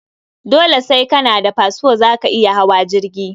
Dole sai kana da fasfo zaka iya hawa jirgi